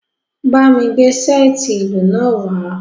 Ba mi gbe seeti ilu naa wa!